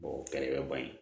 o kɛlɛ bɛ ban ye